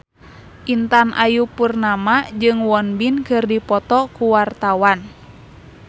Intan Ayu Purnama jeung Won Bin keur dipoto ku wartawan